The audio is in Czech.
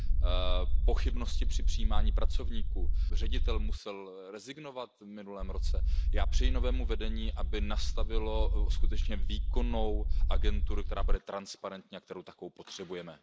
Dále pochybnosti při přijímání pracovníků, ředitel musel rezignovat v minulém roce. Já přeji novému vedení, aby nastavilo skutečně výkonnou agenturu, která bude transparentní a kterou takovou potřebujeme.